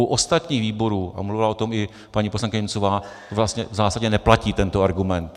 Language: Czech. U ostatních výborů, a mluvila o tom i paní poslankyně Němcová, vlastně v zásadě neplatí tento argument.